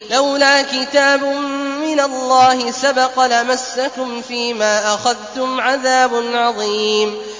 لَّوْلَا كِتَابٌ مِّنَ اللَّهِ سَبَقَ لَمَسَّكُمْ فِيمَا أَخَذْتُمْ عَذَابٌ عَظِيمٌ